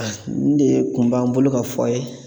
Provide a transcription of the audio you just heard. nin de kun b'an bolo ka fɔ a' ye